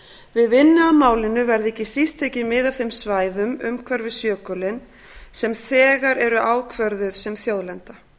við vinnu að málinu verði ekki síst tekið mið af þeim svæðum umhverfis jökulinn sem þegar eru ákvörðuð sem þjóðlenda